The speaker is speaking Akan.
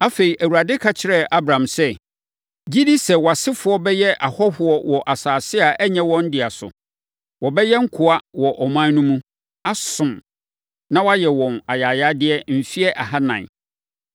Afei, Awurade ka kyerɛɛ Abram sɛ, “Gye di sɛ wʼasefoɔ bɛyɛ ahɔhoɔ wɔ asase a ɛnyɛ wɔn dea so. Wɔbɛyɛ nkoa wɔ ɔman no mu, asom, na wɔayɛ wɔn ayayadeɛ mfeɛ ahanan.